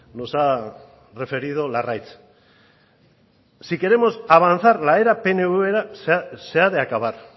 nos ha referido larraitz si queremos avanzar la era peneuvera se ha de acabar